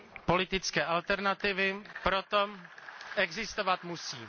Politické alternativy proto existovat musí.